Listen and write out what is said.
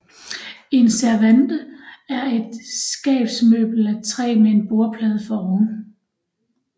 En servante er et skabsmøbel af træ med en bordplade foroven